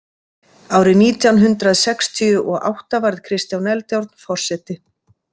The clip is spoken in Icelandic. Árið nítján hundrað sextíu og átta varð Kristján Eldjárn forseti.